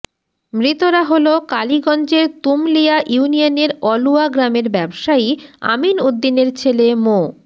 মৃতরা হলো কালীগঞ্জের তুমলিয়া ইউনিয়নের অলুয়া গ্রামের ব্যবসায়ী আমিন উদ্দিনের ছেলে মো